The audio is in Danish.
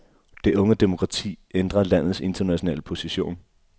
Det unge demokrati ændrer landets internationale position.